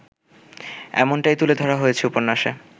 এমনটাই তুলে ধরা হয়েছে উপন্যাসে